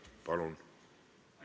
Palun!